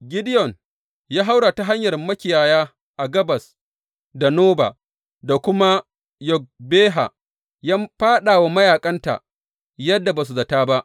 Gideyon ya haura ta hanyar makiyaya, gabas da Noba, da kuma Yogbeha, ya fāɗa wa mayaƙan ta yadda ba su zata ba.